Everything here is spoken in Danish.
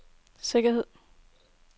sikkerhed